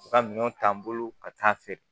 U ka minɛnw ta n bolo ka taa feere